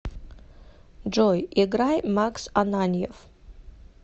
джой играй макс ананьев